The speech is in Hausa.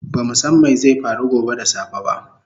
Bamu san mai zai faru gobe da safe ba